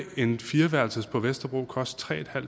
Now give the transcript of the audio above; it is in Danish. en fireværelses på vesterbro koste tre